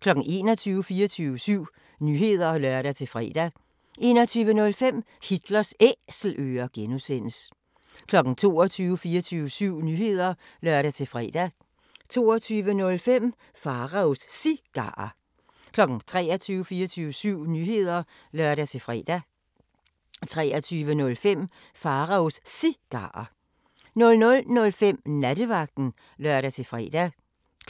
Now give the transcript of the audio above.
21:00: 24syv Nyheder (lør-fre) 21:05: Hitlers Æselører (G) 22:00: 24syv Nyheder (lør-fre) 22:05: Pharaos Cigarer 23:00: 24syv Nyheder (lør-fre) 23:05: Pharaos Cigarer 00:05: Nattevagten (lør-fre)